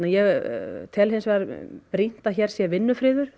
ég tel brýnt að hér sé vinnufriður